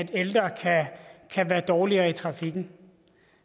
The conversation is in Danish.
ældre kan være dårligere i trafikken